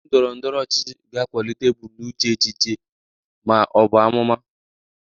Ndị otu ndọrọ ndọrọ ọchịchị ga-akwalite ebumnuche echiche ma ọ bụ amụma